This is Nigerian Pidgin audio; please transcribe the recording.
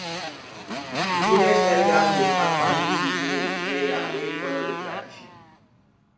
village elders dey start farming season with prayer wey follow the tradition